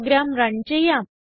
programme run ചെയ്യാം